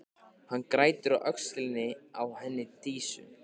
Hann grætur á öxlinni á henni Dísu.